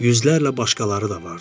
yüzlərlə başqaları da vardı.